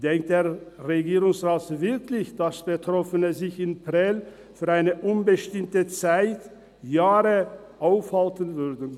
Denkt der Regierungsrat wirklich, dass Betroffene sich in Prêles für eine unbestimmte Zeit während Jahren aufhalten würden?